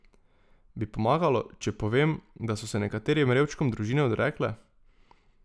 Bi pomagalo, če povem, da so se nekaterim revčkom družine odrekle?